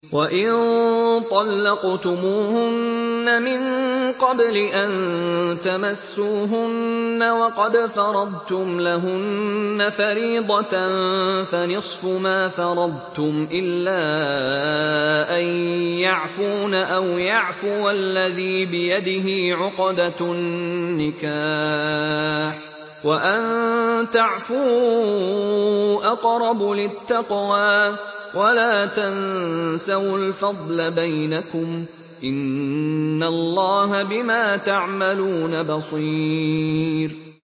وَإِن طَلَّقْتُمُوهُنَّ مِن قَبْلِ أَن تَمَسُّوهُنَّ وَقَدْ فَرَضْتُمْ لَهُنَّ فَرِيضَةً فَنِصْفُ مَا فَرَضْتُمْ إِلَّا أَن يَعْفُونَ أَوْ يَعْفُوَ الَّذِي بِيَدِهِ عُقْدَةُ النِّكَاحِ ۚ وَأَن تَعْفُوا أَقْرَبُ لِلتَّقْوَىٰ ۚ وَلَا تَنسَوُا الْفَضْلَ بَيْنَكُمْ ۚ إِنَّ اللَّهَ بِمَا تَعْمَلُونَ بَصِيرٌ